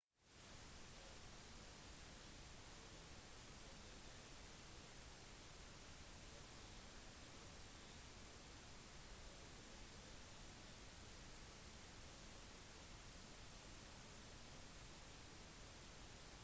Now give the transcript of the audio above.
oppfinnelsen av eikerhjulet gjorde de assyriske vognene lettere raskere og bedre egnet til å kunne kjøre bort fra soldater og andre trusler